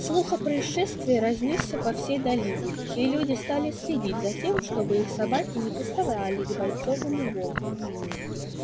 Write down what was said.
слух о происшествии разнёсся по всей долине и люди стали следить за тем чтобы их собаки не приставали к бойцовому волку